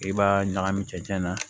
I b'a ɲagami cɛncɛn na